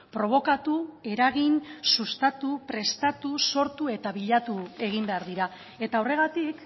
probokatu eragin sustatu prestatu sortu eta bilatu egin behar dira eta horregatik